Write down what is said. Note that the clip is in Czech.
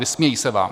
Vysmějí se vám.